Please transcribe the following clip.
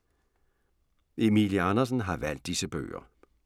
Emilie Andersen har valgt disse bøger